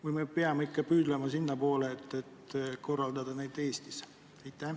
Või me peame ikka püüdlema sinnapoole, et korraldada neid Eestis?